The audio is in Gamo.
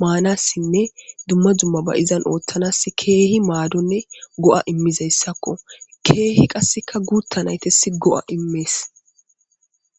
maanassinne dumma dumma ba'izan ooththanas keehi maadonne go'a immizayssakko keehi qasseka guutta naytes go'a immees